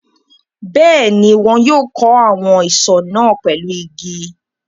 Bẹ́ẹ̀ ni, wọn yóò kó àwọn isọ̀ náà pẹ̀lú igi.